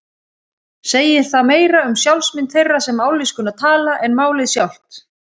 Segir það meira um sjálfsmynd þeirra sem mállýskuna tala en málið sjálft.